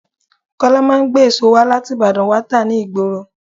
Kọ́lá máa ń gbé èso wá láti Ìbàdàn wá tá ni ìgboro.